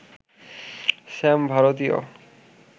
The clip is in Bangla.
স্যাম ভারতীয়